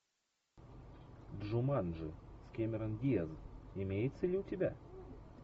джуманджи с кэмерон диаз имеется ли у тебя